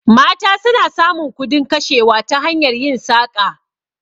Mata suna samun kudin kashewa ta hanyar yin saƙa